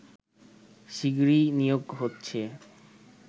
শিগগিরই নিয়োগ হচ্ছে